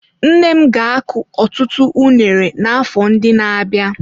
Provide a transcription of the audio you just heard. Nne m ga-akụ ọtụtụ unere n'afọ ndị na-abịa.